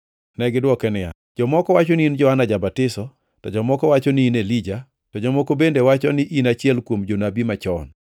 Negidwoke niya, “Jomoko wacho ni in Johana Ja-batiso, to jomoko wacho ni in Elija, to jomoko bende wacho ni in achiel kuom jonabi machon.”